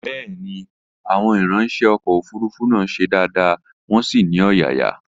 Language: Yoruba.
Bẹ́ẹ̀ni, Àwọn ìranṣẹ́ ọkọ̀ òfurufú náà ṣe dáadáa, wọn sì ní ọ̀yàyà